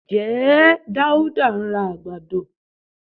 Ǹjẹ́ Dáúdá ń ra àgbàdo?